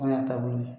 O y'a taabolo ye